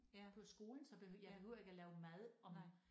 På skolen så bed jeg behøver ikke lave mad om